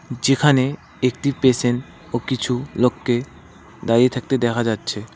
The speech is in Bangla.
যেখানে একটি পেশেন্ট ও কিছু লোককে দাঁড়িয়ে থাকতে দেখা যাচ্ছে।